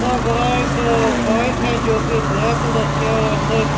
और बाहर एक बाइक है जो कि ब्लैक कलर की है और अंदर एक--